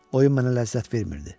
Oyun mənə ləzzət vermirdi.